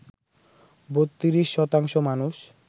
৩২ শতাংশ মানুষ